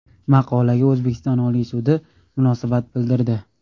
Maqolaga O‘zbekiston Oliy sudi munosabat bildirdi .